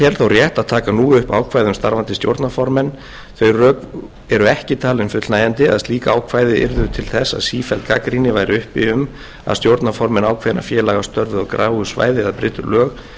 rétt að taka nú upp ákvæði um starfandi stjórnarformenn þau rök eru ekki talin fullnægjandi að slík ákvæði yrðu til þess að sífelld gagnrýni væri uppi um að stjórnarformenn ákveðinna félaga störfuðu á gráu svæði eða brytu lög